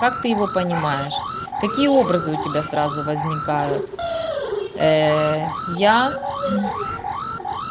как ты его понимаешь какие образы у тебя сразу возникают ээ я